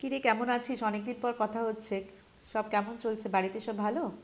কী রে, কেমন আছিস? অনেকদিন পর কথা হচ্ছে। সব কেমন চলছে, বাড়িতে সব ভালো?